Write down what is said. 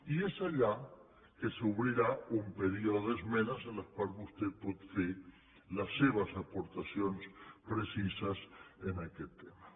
i és allà que s’obrirà un període d’esmenes en les quals vostè pot fer les seves aportacions precises en aquest tema